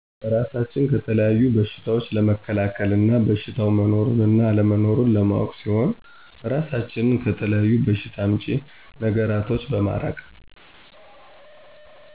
እራሳችንን ከተለያዩ በሸታዎች ለመከላከል እና በሸታው መኖሩንና አለመኖሩን ለማወቅ ሲሆን እራሳችንን ከተለያዪ በሸታ አምጪ ነገራቶች በማራቅ